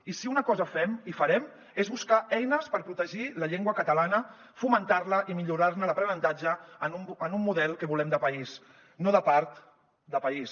i si una cosa fem i farem és buscar eines per protegir la llengua catalana fomentar la i millorar ne l’aprenentatge en un model que volem de país no de part de país